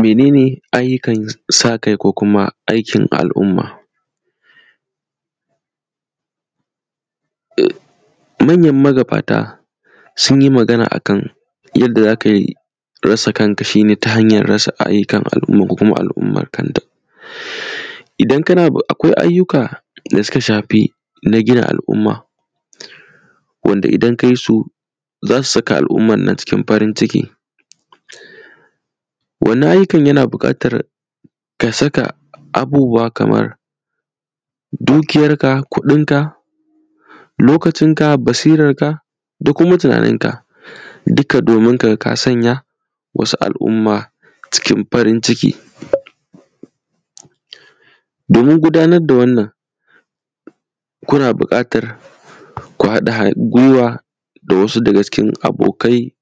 Mene ne ayyukan sa kai ko kuma aikin al’umma? Manyan magabata sun yi magana akan yadda za kai rasa kanka shi ne ta hanya rasa ayyukan al’umma ko kuma al’umman kanta. Idan kana akwai ayyuka da suka shafi na gina al’umma wanda idan kayi su za su saka al’umma cikin farin, wannan ayyukan yana buƙatar ka saka abubuwa kamar dukiyarka kudinka lokacinka basirarka da kuma tunaninka duka domin kaga ka sanya wasu al’umma cikin farin ciki domin gudanar da wannan kuna buƙatan ku haɗa gwiwa da wasu daga cikin abokai